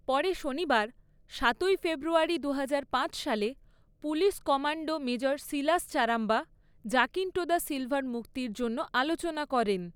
পরে শনিবার, সাতই ফেব্রুয়ারী দুহাজার পাঁচ সালে, police commander major Silas Charamba Jacinto da সিলভার মুক্তির জন্য আলোচনা করেন।